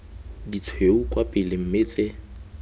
ditshweu kwa pele mme tse